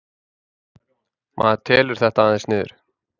Maður telur þetta aðeins niður